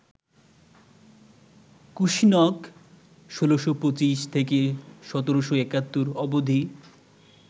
কুসিনক ১৬২৫-১৭৭১ অবধি